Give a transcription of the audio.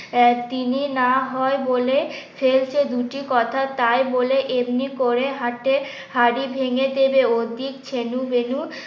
তিনি না হয় বলে ফেলছেন দুটি কথা তাই বলে এমনি করে হাটে হাড়ি ভেঙে দেবে ছেনু বেনু